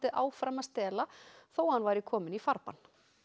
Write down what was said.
áfram að stela þótt hann væri kominn í farbann